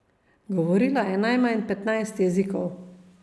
Govorila je najmanj petnajst jezikov.